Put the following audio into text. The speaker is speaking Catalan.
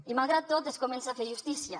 i malgrat tot es comença a fer justícia